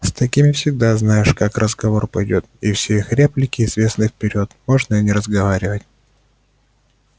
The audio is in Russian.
с такими всегда знаешь как разговор пойдёт и все их реплики известны вперёд можно и не разговаривать